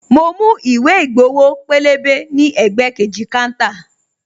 Mo mú ìwé ìgbowo pélébé ní ẹ̀gbẹ́ kejì káńtà